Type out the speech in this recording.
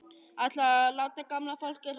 Ætlarðu að láta gamla fólkið hrökkva upp af?